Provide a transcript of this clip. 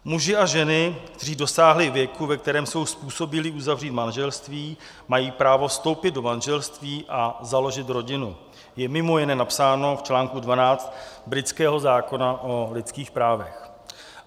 "Muži a ženy, kteří dosáhli věku, ve kterém jsou způsobilí uzavřít manželství, mají právo vstoupit do manželství a založit rodinu," je mimo jiné napsáno v článku 12 britského zákona o lidských právech.